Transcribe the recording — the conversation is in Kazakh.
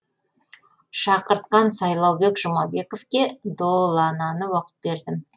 шақыртқан сайлаубек жұмабековке долананы оқып бердім